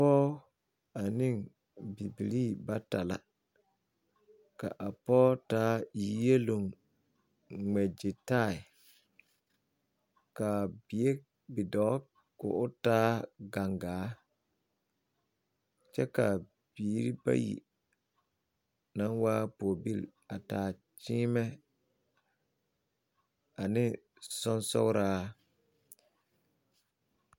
Pɔɔ ane bibilii bata la ka a pɔɔ taa yieloŋ ŋmɛ ɡyitaaɛ ka bidɔɔ ka o taa ɡaŋɡaa kyɛ ka biiri bayi na waa pɔɔbil taa kyeemɛ ane sonsooraa.